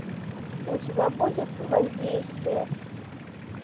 у тебя будет воздействие